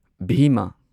ꯚꯤꯃꯥ